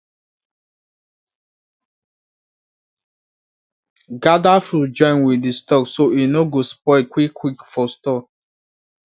gather fruit join with the stalk so e no go spoil quick quick for store